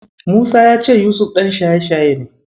Musa ya ce Yusuf ɗan shaye-shaye ne.